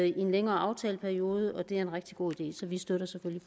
i en længere aftaleperiode og det er en rigtig god idé så vi støtter selvfølgelig